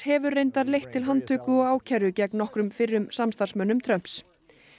hefur reyndar leitt til handtöku og ákæru gegn nokkrum fyrrum samstarfsmönnum Trumps